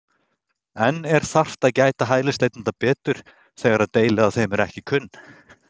En er þarft að gæta hælisleitenda betur þegar að deili á þeim eru ekki kunn?